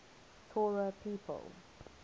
torah people